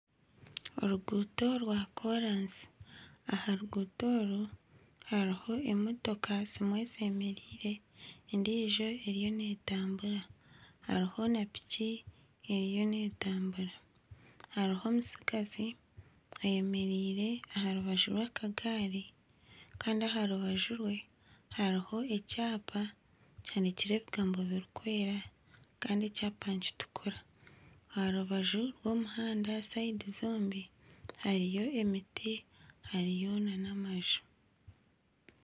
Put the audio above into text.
Oruguuto rwakoransi aha ruguuto oru hariho emotoka, zimwe zemereire endiijo eriyo neetambura, hariho na piki eriho neetambura hariho omutsigazi ayemereire aha rubaju rwa akagaari kandi aha rubaju rwe hariho ekyapa kihanikireho ebigambo birikwera kandi ekyapa nikitukura, aha rubaju rw'omuhanda embaju zombi hariyo emiti, hariyo nana amaju.